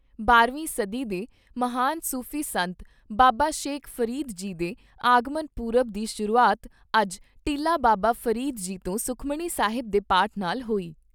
ਬਾਰਾਂ ਵੀਂ ਸਦੀ ਦੇ ਮਹਾਨ ਸੂਫ਼ੀ ਸੰਤ ਬਾਬਾ ਸ਼ੇਖ ਫਰੀਦ ਜੀ ਦੇ ਆਗਮਨ ਪੁਰਬ ਦੀ ਸ਼ੁਰੂਆਤ ਅੱਜ ਟਿੱਲਾ ਬਾਬਾ ਫਰੀਦ ਜੀ ਤੋਂ ਸੁਖਮਣੀ ਸਾਹਿਬ ਦੇ ਪਾਠ ਨਾਲ ਹੋਈ।